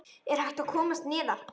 Er hægt að komast neðar?